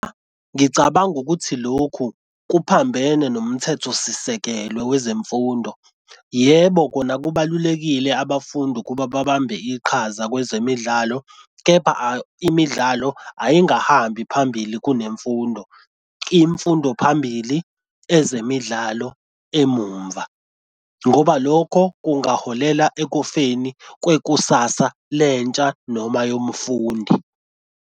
Ngicabanga ukuthi lokhu kuphambene nomthetho sisekelo wezemfundo. Yebo kona kubalulekile abafundi ukuba babambe iqhaza kwezemidlalo, kepha imidlalo ayingahambi phambili kunemfundo imfundo phambili ezemidlalo emumva ngoba lokho kungaholela ekufeni kwekusasa lentsha noma yomfundi.